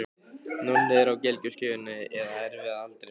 Nonni er á gelgjuskeiðinu eða erfiða aldrinum.